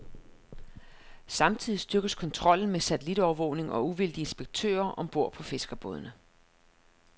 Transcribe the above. Samtidig styrkes kontrollen med satellitovervågning og uvildige inspektører om bord på fiskerbådene.